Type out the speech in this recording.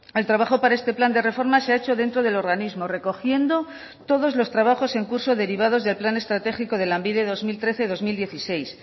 el trabajo para este plan de reforma se ha hecho dentro del organismo recogiendo todos los trabajos en curso derivados del plan estratégico de lanbide dos mil trece dos mil dieciséis